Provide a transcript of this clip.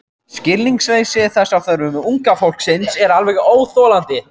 Skilningsleysi þess á þörfum unga fólksins er alveg óþolandi.